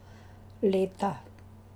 Leta.